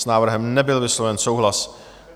S návrhem nebyl vysloven souhlas.